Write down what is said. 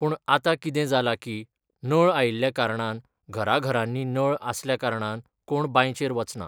पूण आतां कितें जालां की, नळ आयिल्ल्या कारणान घरा घरांनी नळ आसल्या कारणान कोण बांयचेर वचना.